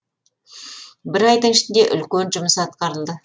бір айдың ішінде үлкен жұмыс атқарылды